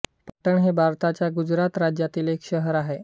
पाटण हे भारताच्या गुजरात राज्यातील एक शहर आहे